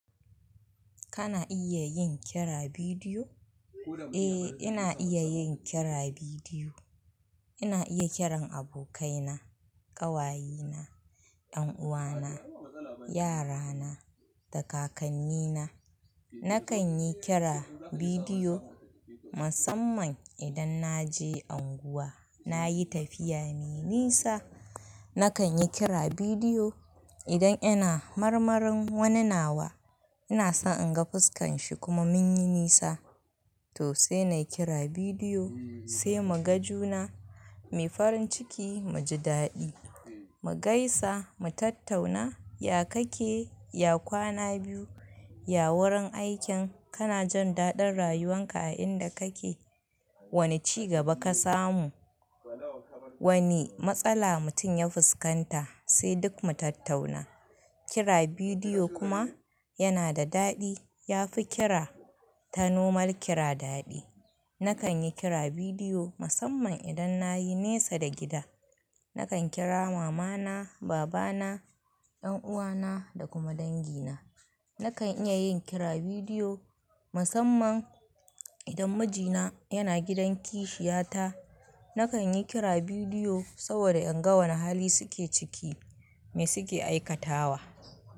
Kana iya yin kira bidiyo? Eh, ina iya yin kira bidiyo. Ina iya kiran abokaina, ƙawayena, ƴanuwana, yarana da kakannina. Nakan yi kira bidiyo musamman idan na je unguwa, na yi tafiya me nisa. Nakan yi kira bidiyo idan ina marmarin wani nawa, ina so in ga fuskan shi kuma mun yi nisa. To sai na yi kira bidiyo, sai mu ga juna mai farin ciki, mu ji daɗi, mu gaisa, mu tattauna. Ya kake? Ya kwana biyu? Ya wurin aikin? Kana jin daɗin rayuwan ka a inda kake? Wane ci gaba ka samu? Wane matsala mutum ya fuskanta? Sai duk mu tattauna. Kira bidiyo kuma yana da daɗi. Ya fi kira ta nomar kira daɗi. Nakan yi kira bidiyo musamman idan na yi nesa da gida. Nakan kira mamana, babana, ƴanuwana da kuma dangi na. Nakan iya yin kira bidiyo musamman idan mijina yana gidan kishiya ta. Nakan yi kira bidiyo saboda in ga wane hali suke ciki, me suke aikatawa.